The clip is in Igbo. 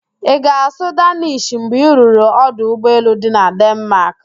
Ị ga-asụ Daanish mgbe i ruru ọdụ ụgbọelu dị na Denmaak?